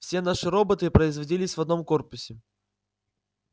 все наши роботы производились в одном корпусе